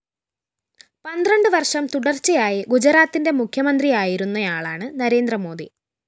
പന്ത്രണ്ട് വര്‍ഷം തുടര്‍ച്ചയായി ഗുജറാത്തിന്റെ മുഖ്യമന്ത്രിയായിരുന്നയാളാണ് നരേന്ദ്ര മോദി